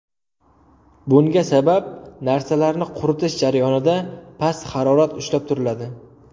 Bunga sabab narsalarni quritish jarayonida past harorat ushlab turiladi.